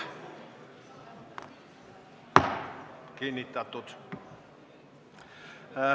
Kinnitatud.